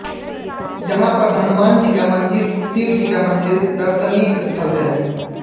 यहां पर हनुमान जी का मंदिर शिव जी का मंदिर दर्शनीय स्थल है